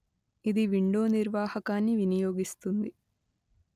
ఇది విండో నిర్వాహకాన్ని వినియోగిస్తుంది